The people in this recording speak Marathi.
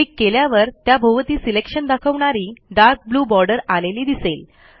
क्लिक केल्यावर त्याभोवती सिलेक्शन दाखवणारी डार्क ब्लू बॉर्डर आलेली दिसेल